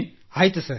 ಆಯ್ತು ಸರ್